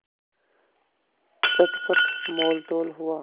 चटपट मोलतोल हुआ